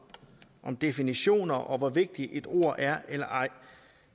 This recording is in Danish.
om definitioner og om hvor vigtigt et ord er eller ej